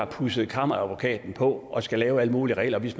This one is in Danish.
pudset kammeradvokaten på og skal lave alle mulige regler og hvis